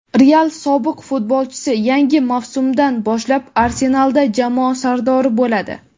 "Real" sobiq futbolchisi yangi mavsumdan boshlab "Arsenal"da jamoa sardori bo‘ladi;.